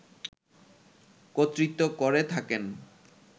কর্তৃত্ব করে থাকেন